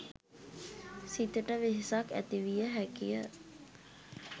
සිතට වෙහෙසක් ඇතිවිය හැකිය.